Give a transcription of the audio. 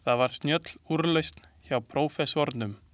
Það var snjöll úrlausn hjá prófessornum.